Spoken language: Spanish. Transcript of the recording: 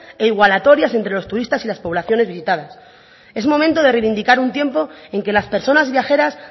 e igualatorias entre los turistas y las poblaciones visitadas es momento de reivindicar un tiempo en que las personas viajeras